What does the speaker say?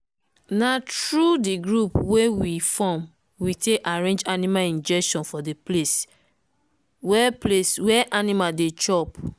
na through the group wey we form we take arrange animal injection for the place wer place wer animal dey chop.